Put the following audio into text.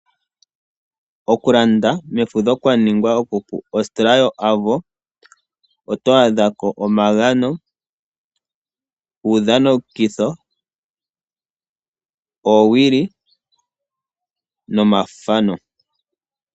Okulanda mefudho kwa ningwa okupu. Ostola yo Avo oto adhako omagano, uudhanitho, oowili nomathano.